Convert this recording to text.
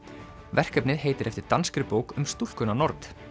verkefnið heitir eftir danskri bók um stúlkuna nord